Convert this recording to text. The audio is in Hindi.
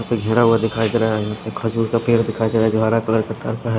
इसपे घेरा हुआ दिखाई दे रहा है खजूर का पेड़ दिखाई दे रहा है जो हरा कलर तार का है।